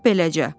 Lap beləcə.